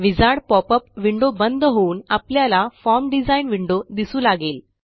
wizard popup window बंद होऊन आपल्याला फॉर्म डिझाइन विंडो दिसू लागेल